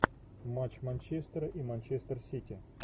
матч манчестера и манчестер сити